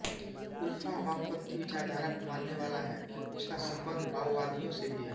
उल्फा वामपन्थी विचारधारा को मानने वाला है और उसका सम्बन्ध माओवादियों से भी है